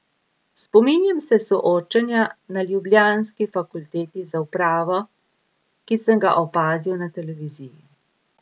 Spominjam se soočenja na ljubljanski fakulteti za upravo, ki sem ga opazil na televiziji.